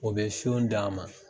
O be siyon d'a ma.